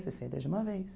Sessenta de uma vez.